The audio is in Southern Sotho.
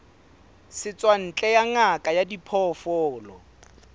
setswantle ya ngaka ya diphoofolo